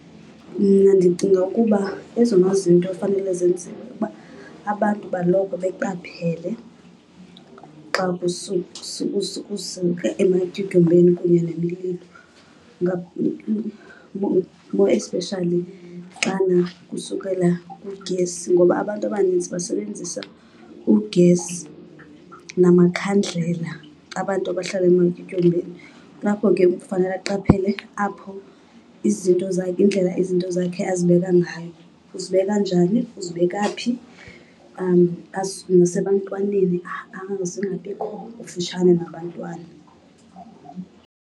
Mna ndicinga ukuba ezona zinto efanele zenziwe ukuba abantu baloko beqaphele xa kusuka ematyotyombeni kunye nemililo, more especially xana kusukela ugesi ngoba abantu abaninzi basebenzisa ugesi namakhandlela, abantu abahlala ematyotyombeni. Kulapho ke kufanele aqaphele apho izinto zakhe, indlela izinto zakhe azibeka ngayo. Uzibeka njani? Uzibeka phi? Azisuse ebantwaneni, zingabikho kufutshane kubantwana.